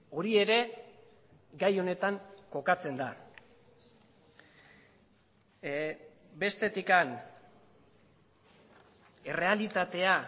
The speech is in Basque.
hori ere gai honetan kokatzen da bestetik errealitatea